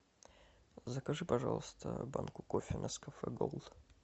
закажи пожалуйста банку кофе нескафе голд